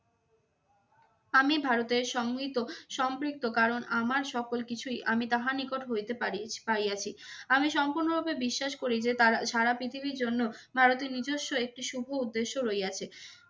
আমি ভারতের সংহৃত~ সম্পৃক্ত কারণ আমার সকল কিছুই আমি তাহার নিকট হইতে পারি পাইয়াছি। আমি সম্পূর্ণরূপে বিশ্বাস করি যে তারা সারা পৃথিবীর জন্য ভারতের নিজস্ব একটি শুভ উদ্দেশ্য রইয়াছে।